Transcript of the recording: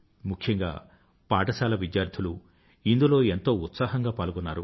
ముఖ్యంగా పాఠశాల విద్యార్థులు ఇందులో ఎంతో ఉత్సాహంగా పాల్గొన్నారు